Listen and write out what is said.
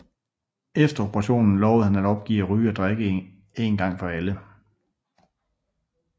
Efter operationen lovede han at opgive at ryge og drikke en gang for alle